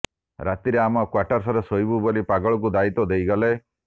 ରାତିରେ ଆମ କ୍ୱାର୍ଟର୍ସରେ ଶୋଇବୁ ବୋଲି ପାଗଳକୁ ଦାୟିତ୍ୱ ଦେଇଗଲେ